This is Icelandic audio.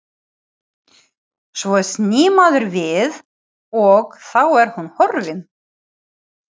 Svo snýr maður við og þá er hún horfin.